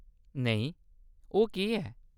नेईं ओह्‌‌ केह्‌‌ ऐ ?